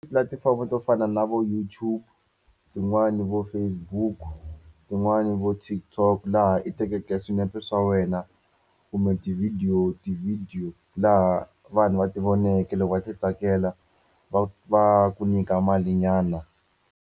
Tipulatifomo to fana na vo YouTube tin'wani vo Facebook tin'wani vo TikTok laha i tekeke swinepe swa wena kumbe tivhidiyo tivhidiyo laha vanhu va ti voneke loko va ti tsakela va va ku nyika malinyana.